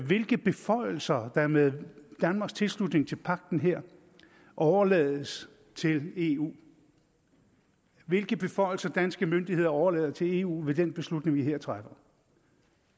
hvilke beføjelser der med danmarks tilslutning til pagten her overlades til eu hvilke beføjelser danske myndigheder overlader til eu ved den beslutning vi her træffer